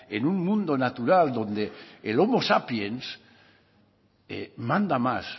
en un mundo natural donde el homo sapiens manda más